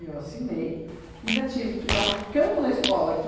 Eu assinei e ainda tive que dar um cano na escola aqui.